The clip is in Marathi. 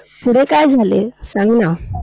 पुढे काय झाले? सांग ना.